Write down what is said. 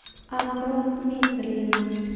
амро дмитриевна